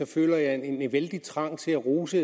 føler jeg en vældig trang til at rose